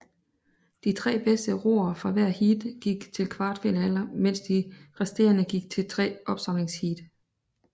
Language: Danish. De tre bedste roere fra hvert heat gik til kvartfinalerne mens de resterende gik til tre opsamlingsheat